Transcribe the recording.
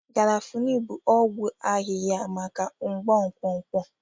Garafuni bụ ọgwụ ahịhịa maka mgbu nkwonkwo.